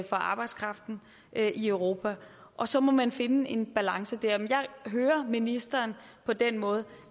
for arbejdskraften i europa og så må man finde en balance der men jeg hører ministeren på den måde